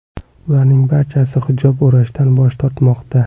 Ularning barchasi hijob o‘rashdan bosh tortmoqda.